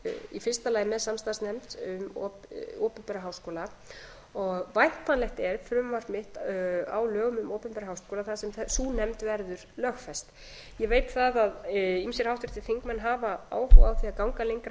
í fyrsta lagi með samstarfsnefnd um opinbera háskóla og væntanlegt er frumvarp mitt á lögum um opinbera háskóla þar sem sú nefnd verður lögfest ég veit að ýmsir háttvirtir þingmenn hafa áhuga á því að ganga lengra í